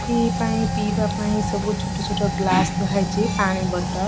Free ପାଇଁ ପିଇବା ପାଇଁ ସବୁ ଛୋଟ ଛୋଟ ଗ୍ଲାସ୍ ଥୁଆହେଇଛି ପାଣି ବୋତଲ।